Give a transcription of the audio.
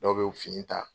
Dɔw bɛ fini ta